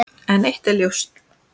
En eitt er ljóst.